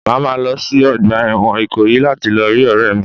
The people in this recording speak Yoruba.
Mo máa lọ sí ọgbà ẹ̀wọ̀n Ikoyi láti lọ rí ọ̀rẹ́ mi.